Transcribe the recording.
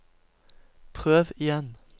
prøv igjen